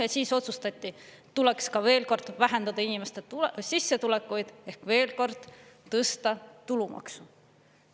Ja siis otsustati, tuleks ka veel kord vähendada inimeste sissetulekuid ehk veel kord tõsta tulumaksu.